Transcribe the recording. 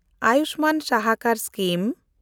Ayushman Sahakar scheme